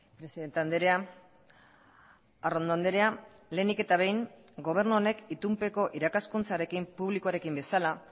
presidente andrea arrondo andrea lehenik eta behin gobernu honek itunpeko irakaskuntzarekin publikoarekin bezala